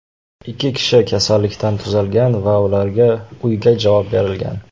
Ikki kishi kasallikdan tuzalgan va ularga uyga javob berilgan.